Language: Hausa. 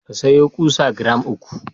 Ka sayo ƙusa giram uku.